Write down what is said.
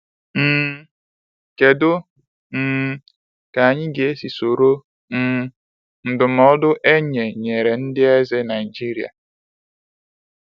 um Kedụ um ka anyị ga esi soro um ndụmọdụ enye nyere ndị eze Naịịjiria?